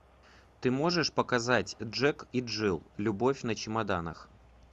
ты можешь показать джек и джилл любовь на чемоданах